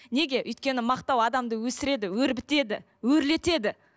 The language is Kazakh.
неге өйткені мақтау адамды өсіреді өрбітеді өрлетеді